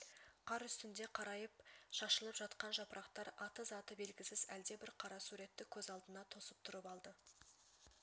қар үстінде қарайып шашылып жатқан жапырақтар аты-заты белгісіз әлдебір қара суретті көз алдына тосып тұрып алды